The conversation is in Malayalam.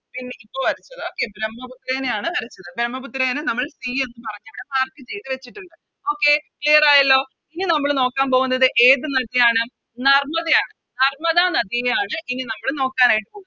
പിന്നെ ഇപ്പൊ വരച്ചത് Okay ബ്രമ്മപുത്രേനെയാണ് വരച്ചത് ബ്രമ്മപുത്രേനെ നമ്മൾ C എന്ന് പറഞ്ഞ് ഇവിടെ Mark ചെയ്ത വെച്ചിട്ടിണ്ട് Okay clear ആയല്ലോ ഇനി നമ്മൾ നോക്കാൻ പോകുന്നത് ഏത് നദിയാണ് നർമ്മദയാണ് നർമ്മദ നദിയെയാണ് ഇനി നമ്മള് നോക്കാനായിട്ട് പോ